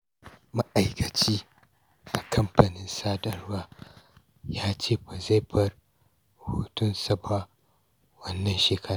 Ma'aikaci a kamfanin sadarwa ya ce ba zai bar hutunsa ba wannan shekara.